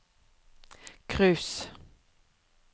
cruise